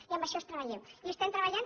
i en això treballem hi estem treballant